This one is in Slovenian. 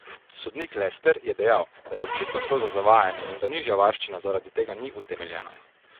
Sodnik Lester je dejal, da je očitno šlo za zavajanje in da nižja varščina zaradi tega ni utemeljena.